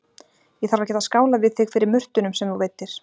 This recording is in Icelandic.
Ég þarf að geta skálað við þig fyrir murtunum sem þú veiddir